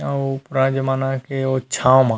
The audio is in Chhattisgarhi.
अऊ उप राजा मन के छाव म--